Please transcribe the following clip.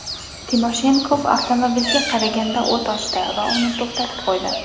Timoshenkov avtomobilga qarata o‘t ochdi va uni to‘xtatib qo‘ydi.